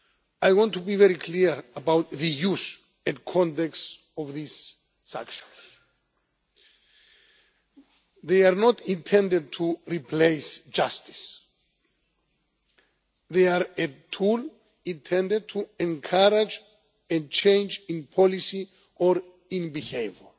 I want to be very clear about the use and context of these sanctions. They are not intended to replace justice they are a tool intended to encourage a change in policy or in behaviour.